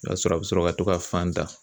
O y'a sɔrɔ a bɛ sɔrɔ ka to ka fan da